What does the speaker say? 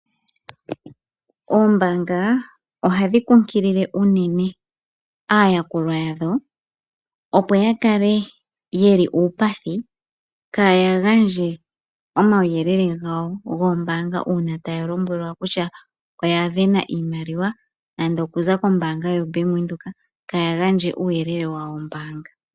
Oombaanga ohadhi kunkilile unene aayakulwa yadho, opo yakale ye li uupathi, kaaya gandje omawuyelele gawo goombanga, uuna taya lombwelwa kutya oya sindana oshimaliwa, nando okuza kombaanga yoBank Windhoek, kaaya gandje uuyele wawo wombaanga.